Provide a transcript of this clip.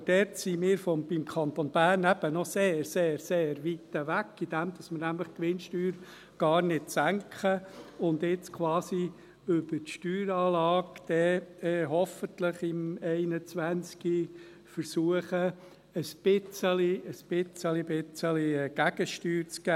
Aber davon sind wir im Kanton Bern noch sehr, sehr weit entfernt, weil wir nämlich die Gewinnsteuer gar nicht senken und jetzt quasi über die Steueranlage, hoffentlich 2021, ein bisschen, bisschen Gegensteuer zu geben versuchen.